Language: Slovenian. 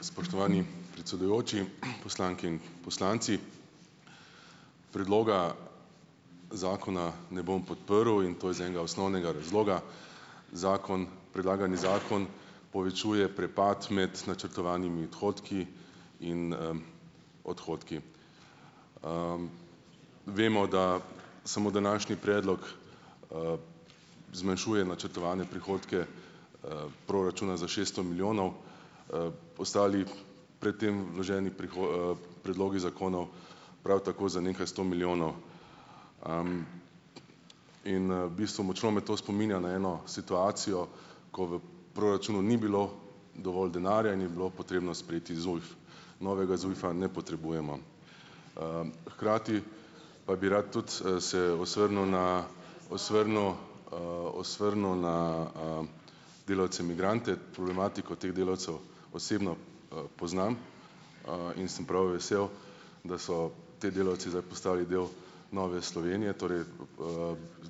Spoštovani predsedujoči, poslanke in poslanci. Predloga zakona ne bom podprl in to iz enega osnovnega razloga. Zakon, predlagani zakon povečuje prepad med načrtovanimi odhodki in, odhodki. Vemo, da samo današnji predlog zmanjšuje načrtovane prihodke, proračuna za šeststo milijonov, ostali pred tem vloženi predlogi zakonov prav tako za nekaj sto milijonov. In v bistvu močno me to spominja na eno situacijo, ko v proračunu ni bilo dovolj denarja in je bilo potrebno sprejeti ZUJF. Novega ZUJF-a ne potrebujemo. Hkrati pa bi rad tudi, se "osvrnil" na "osvrnil", "osvrnil" na, delavce migrante. Problematiko teh delavcev osebno, poznam. In sem prav vesel, da so ti delavci zdaj postali del Nove Slovenije. Torej,